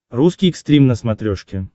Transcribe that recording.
русский экстрим на смотрешке